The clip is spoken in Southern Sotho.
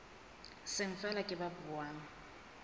seng feela ke ba buang